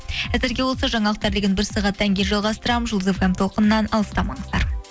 әзірге осы жаңалықтар легін бір сағаттан кейін жалғастырамын жұлдыз фм толқынынан алыстамаңыздар